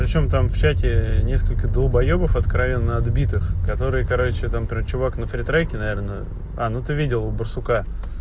причём там в чате несколько долбоёбов откровенно отбитых которые короче там про чувак на фри треке наверное а ну ты видел у барсука